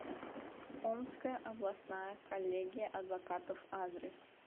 омская областная коллегия адвокатов адрес